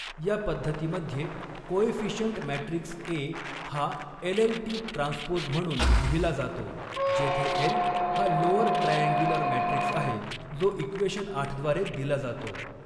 या पद्धतीमध्ये coefficient matrix A हा एलएलटी ट्रान्सपोज म्हणून लिहिला जातो जेथे एल हा लोअर ट्रायअँग्युलर मॅट्रिक्स आहे जो इक्वेशन आठ द्वारे दिला जातो.